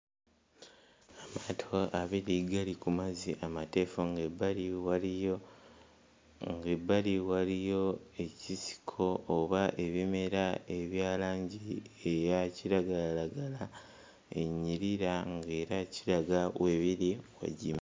Amaato abali gali ku mazzi amateefu ng'ebbali waliyo ng'ebbali waliyo ekisiko oba ebimera ebya langi eya kiragalalagala enyirira ng'era kiraga we biri wagimu.